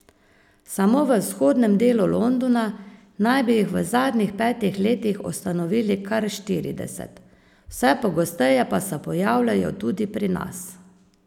Samo v vzhodnem delu Londona naj bi jih v zadnjih petih letih ustanovili kar štirideset, vse pogosteje pa se pojavljajo tudi pri nas.